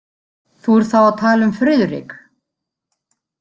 Þú ert þá að tala um Friðrik?